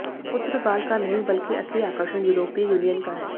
पुर्तगाल का नहीं बल्कि असली आकर्षण यूरोपीय यूनियन का है